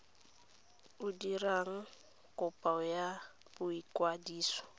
o dirang kopo ya boikwadiso